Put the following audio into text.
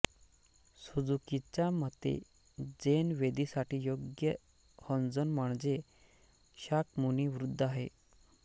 सुझुकीच्या मते झेन वेदीसाठी योग्य होन्झोन म्हणजे शाक्यमुनी बुद्ध आहे